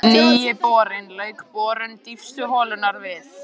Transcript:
Nýi borinn lauk borun dýpstu holunnar við